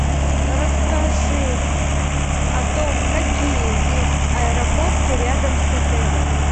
расскажи о том какие есть аэропорты рядом с отелем